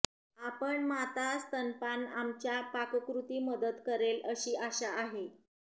आपण माता स्तनपान आमच्या पाककृती मदत करेल अशी आशा आहे